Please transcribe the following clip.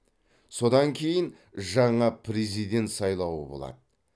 содан кейін жаңа президент сайлауы болады